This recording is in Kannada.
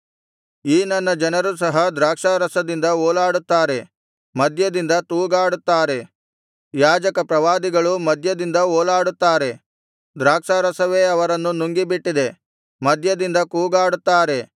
ಈ ನನ್ನ ಜನರು ಸಹ ದ್ರಾಕ್ಷಾರಸದಿಂದ ಓಲಾಡುತ್ತಾರೆ ಮದ್ಯದಿಂದ ತೂಗಾಡುತ್ತಾರೆ ಯಾಜಕ ಪ್ರವಾದಿಗಳೂ ಮದ್ಯದಿಂದ ಓಲಾಡುತ್ತಾರೆ ದ್ರಾಕ್ಷಾರಸವೇ ಅವರನ್ನು ನುಂಗಿಬಿಟ್ಟಿದೆ ಮದ್ಯದಿಂದ ತೂಗಾಡುತ್ತಾರೆ